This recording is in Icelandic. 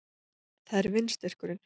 Það er vindstyrkurinn